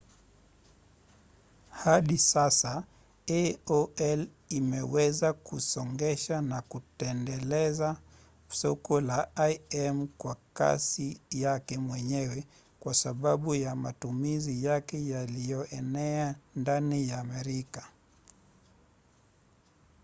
hadi sasa aol imeweza kusongesha na kuendeleza soko la im kwa kasi yake mwenyewe kwa sababu ya matumizi yake yaliyoenea ndani ya merika